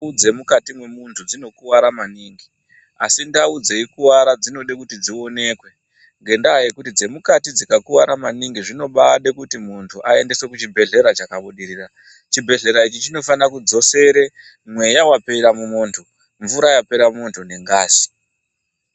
Ndau dzemukati memuntu dzinokuwara maningi. Asi ndau dzeikuwara dzinode kuti dzionekwe, ngendaa yekuti dzemukati dzikakuwara maningi dzinobaade kuti muntu aendeswe kuchibhedhlera chakabudirira. Chibhedhlera ichi chinofane kudzosere mweya wapera mumuntu, mvura yapera mumuntu pamwe nengazi.